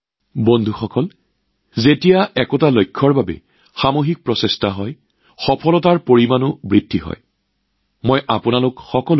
বন্ধুসকল যেতিয়া কোনো লক্ষ্যৰ দিশত সামূহিক প্ৰচেষ্টা হয় তেতিয়া সফলতাৰ স্তৰো অধিক ওপৰলৈ উঠি যায়